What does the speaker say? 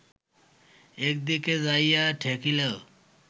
একদিকে যাইয়া ঠেকিল